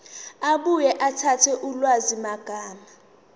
abuye akhethe ulwazimagama